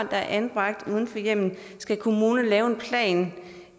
er anbragt uden for hjemmet skal kommunerne lave en plan